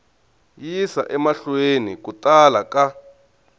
yisa emahlweni ku tala ka